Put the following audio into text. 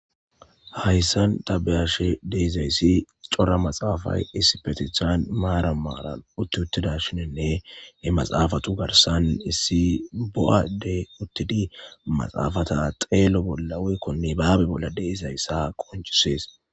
Haysan ta be'ashe diza'is, chora matsafay isppetan maran maran ut-utdashene, he matsafatu garsan is bo'a ade utidi matsafata tsalo bolan weyko nibabe bola de'izaysa qonchises.